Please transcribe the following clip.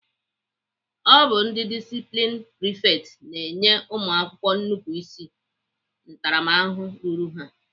Ọ bụ ndị disiplini prifekts na-enye ụmụakwụkwọ nupuru ịsị ntaramahụhụ ruru ha.